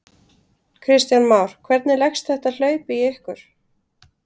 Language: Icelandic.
Kristján Már: Hvernig leggst þetta hlaup í ykkur?